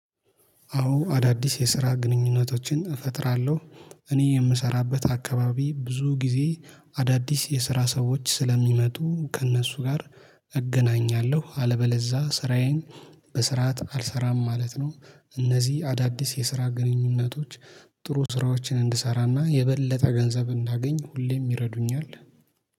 አዎ አዳዲስ የስራ ግንኙነቶችን እፈጥራለሁ እኔ የምሰራበት አከባቢ ብዙ ጊዜ አዳዲስ የስራ ሰዎች ስለሚመጡ ከእነሱ ጋር እገናኛለሁ። አለበለዚያ ስራዬን በስራት አልሰራም ማለት ነው። እነዚህ አዳዲስ የስራ ግንኙነቶች ጥሩ ስራዎችን እንድሰራና የበለጠ ገንዘብ እንዳገኝ ሁሌም ይረዱኛል